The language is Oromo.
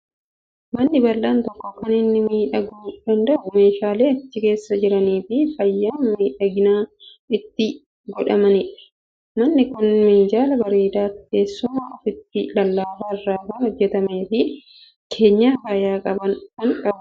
Manni bal'aan tokko kan inni miidhaguu danda'u meeshaalee achi keessa jiranii fi faaya miidhaginaa itti godhameenidha. Manni kun minjaala bareedaa, teessuma uffata lallaafaa irraa hojjetamee fi keenya faaya qaban kan qabudha.